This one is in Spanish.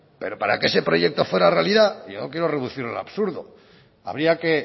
pero para que ese proyecto fuera realidad yo no quiero reducirlo a lo absurdo habría que